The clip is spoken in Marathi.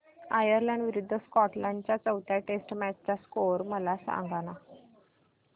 आयर्लंड विरूद्ध स्कॉटलंड च्या चौथ्या टेस्ट मॅच चा स्कोर मला सांगना